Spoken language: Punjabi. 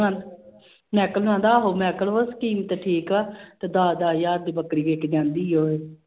ਮੈਕਲ ਕਹਿੰਦਾ ਆਹੋ ਮੈਕਲ ਕਹਿੰਦਾ scheme ਤੇ ਠੀਕ ਆ ਤੇ ਦਸ ਦਸ ਹਜ਼ਾਰ ਦੀ ਬੱਕਰੀ ਵਿੱਕ ਜਾਂਦੀ ਹੈ।